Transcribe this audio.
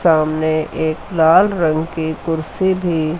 सामने एक लाल रंग की कुर्सी भी--